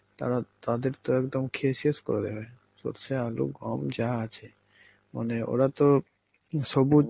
তারা~ তাদের তো একদম খেয়ে শেষ করে দেবে সরষে, আলু, গম যা আছে. মানে ওরা তো সবুজ